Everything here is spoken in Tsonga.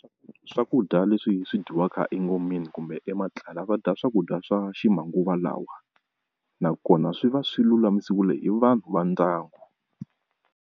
Swakudya leswi swi dyiwaka engomeni kumbe eka matlala va dya swakudya swa ximanguva lawa nakona swi va swi lulamisiwile hi vanhu va ndyangu.